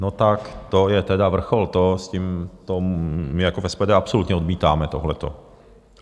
No tak to je tedy vrchol, to my jako v SPD absolutně odmítáme, tohleto.